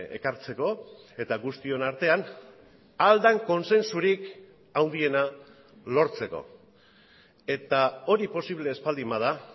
ekartzeko eta guztion artean ahal den kontsensurik handiena lortzeko eta hori posible ez baldin bada